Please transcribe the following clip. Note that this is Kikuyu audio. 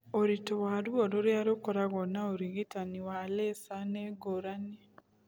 Ũritũ wa ruo rũrĩa rũkoragwo na ũrigitani wa laser nĩ ngũrani.